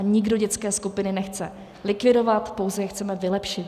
A nikdo dětské skupiny nechce likvidovat, pouze je chceme vylepšit.